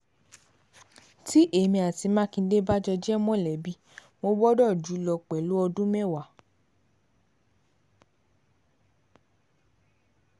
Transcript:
tí èmi àti mákindé bá jọ jẹ́ mọ̀lẹ́bí mo gbọ́dọ̀ jù ú lọ pẹ̀lú ọdún mẹ́wàá